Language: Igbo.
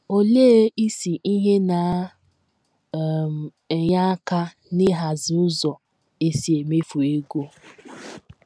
Olee isi ihe na um - enye aka n’ịhazi ụzọ e si emefu ego.